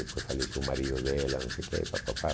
Depois faleceu o marido dela, não sei o quê e pá pá pá.